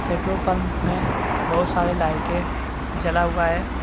Petrol pump में बहुत सारे लाइटें जला हुआ है।